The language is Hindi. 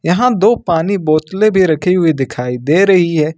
यहां दो पानी बोतलें भी रखी हुई दिखाई दे रही है।